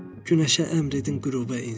Günəşə əmr edin, qürubə insin!